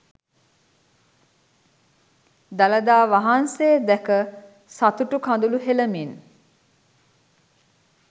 දළදා වහන්සේ දැක සතුටු කඳුළු හෙලමින්